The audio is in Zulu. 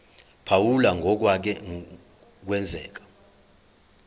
phawula ngokwake kwenzeka